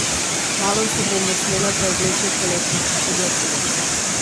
Kmalu se bomo smele preobleči v poletna oblačila.